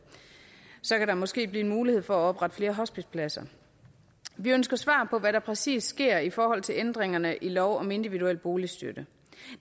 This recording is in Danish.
så kan der måske blive mulighed for at oprette flere hospicepladser vi ønsker svar på hvad der præcis sker i forhold til ændringerne i lov om individuel boligstøtte